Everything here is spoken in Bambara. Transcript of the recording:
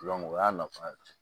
o y'a nafa ye